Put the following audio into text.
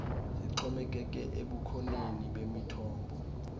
zixhomekeke ebukhoneni bemithombo